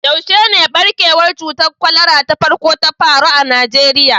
Yaushe ne ɓarkewar cutar kwalara ta farko ta faru a Najeriya?